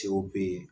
Cɛw be ye